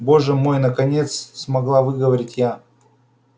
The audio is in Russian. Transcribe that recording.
боже мой наконец смогла выговорить я